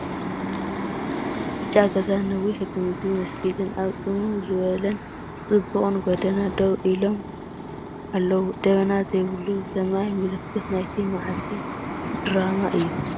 ብጫ ገዛን ነዊሕ ግምቢ መስጊድን ኣብ ጽምው ዝበለን ጽቡቕን ጎደና ደው ኢሎም ኣለዉ። ደበና ዘይብሉ ሰማይ ምልክት ናይቲ መዓልቲ ድራማ እዩ።